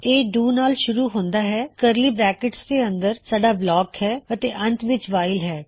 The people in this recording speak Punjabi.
ਇਹਡੂ ਨਾਲ ਸ਼ੁਰੂ ਹੁੰਦਾ ਹੈ ਕਰਲੀ ਬਰੈਕਟਸ ਦੇ ਅੰਦਰ ਸਾੱਡਾ ਬਲਾਕ ਹੈ ਅਤੇ ਅੰਤ ਵਿੱਚ ਵਾਇਲ ਹੈ